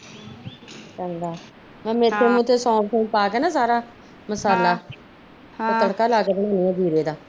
ਚੰਗਾ ਮੈਂ ਮੇਥਰੇ ਮਥਾਰੇ ਸੌਂਫ ਸੁਨਫ ਪਾ ਕੇ ਸਾਰਾ ਮਸਾਲਾ ਤੇ ਤੜਕਾ ਲੈ ਕੇ ਬਣਦੀ ਆ ਜੀਰੇ ਦਾ